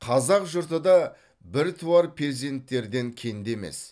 қазақ жұрты да біртуар перзенттерден кенде емес